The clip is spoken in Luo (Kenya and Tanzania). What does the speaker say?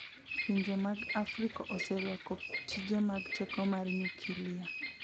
Pinje mag Afrika oserwako tije mag teko mar nyukilia.